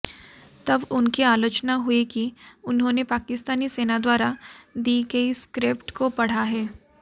तब उनकी आलोचना हुई कि उन्होंने पाकिस्तानी सेना द्वारा दी गई स्क्रिप्ट को पढ़ा है